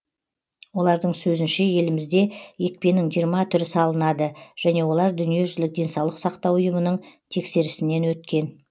олардың сөзінше елімізде екпенің жиырма түрі салынады және олар дүниежүзілік денсаулық сақтау ұйымының тексерісінен өткен